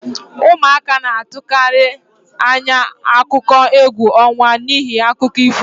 Ụmụaka na-atụkarị anya akụkọ égwu ọnwa n'ihi akụkọ ifo